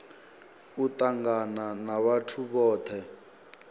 u tangana na vhathu vhothe